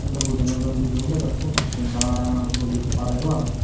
ello buja naw jal lijugun daw bekkun pakkon ranga ranga puro liju padeyo agey.